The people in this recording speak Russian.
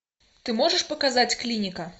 ты можешь показать клиника